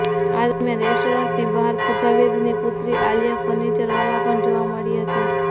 આ દરમિયાન રેસ્ટોરન્ટની બહાર પૂજા બેદીની પુત્રી આલિયા ફર્નિચરવાલા પણ જોવા મળી હતી